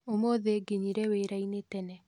Ũmũthĩ nginyire wĩra-inĩ tene